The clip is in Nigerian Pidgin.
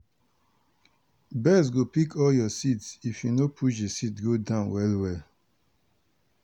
birds go pick all your seeds if you no push the seeds go down well well.